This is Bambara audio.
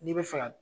N'i bɛ fɛ ka